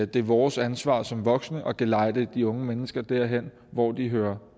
det er vores ansvar som voksne at gelejde de unge mennesker derhen hvor de hører